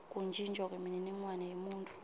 kuntjintjwa kwemininingwane yemuntfu